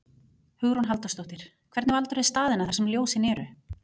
Hugrún Halldórsdóttir: Hvernig valdirðu staðina þar sem ljósin eru?